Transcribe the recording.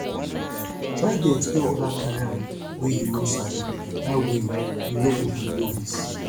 try dey explore oda career wey yu no sabi dat way yu no go bi novice